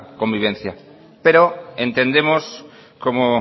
convivencia pero entendemos como